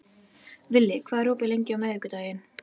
Villi, hvað er opið lengi á miðvikudaginn?